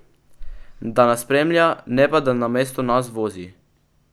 Da nas spremlja, ne pa da namesto nas vozi.